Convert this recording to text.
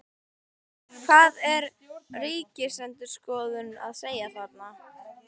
Hvað er Ríkisendurskoðun að segja þarna?